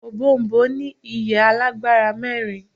òbòònbòn ní ìyẹ́ alágbára mẹ́rin